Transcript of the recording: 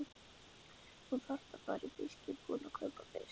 Þú þarft að fara í fiskbúðina og kaupa fisk.